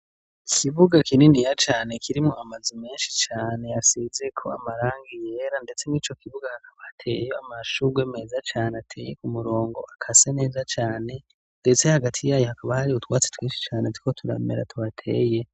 Ikibuga kinini ya cane kirimwo amaze menshi cane yasizeko amarang iyera, ndetse nk'i co kibuga hakaba ateye amashugwe meza cane ateye ku murongo akase neza cane, ndetse hagati yayo hakaba hari utwatsi twinshi cane ziko turamera tuhateye.